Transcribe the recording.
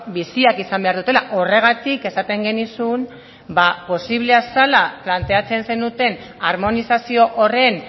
biziak izan behar dutela horregatik esaten genizun posiblea zela planteatzen zenuten harmonizazio horren